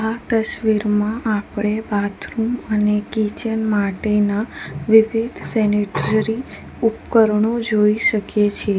આ તસ્વીરમાં આપડે બાથરૂમ અને કિચન માટેના વિવિધ સેનિટરી ઉપકરણો જોઈ શકીએ છે.